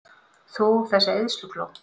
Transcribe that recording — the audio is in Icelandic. Þú, þessi eyðslukló!